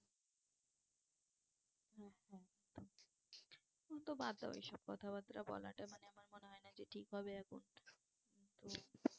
ও তো বাদ দাও ওই সব কথা বার্তা বলাটা মানে আমার মনে হয় না যে ঠিক হবে এখন তো